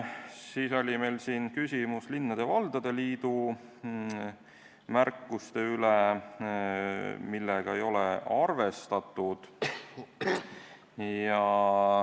Siis oli küsimus linnade ja valdade liidu märkuste kohta, millega ei ole arvestatud.